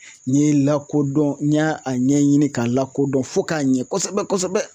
N ye lakodɔn n y'a a ɲɛɲini k'a lakodɔn fo k'a ɲɛ kosɛbɛ-kosɛbɛ.